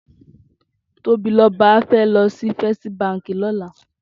Tobiloba fè lòsí Féstí bànkí lòlá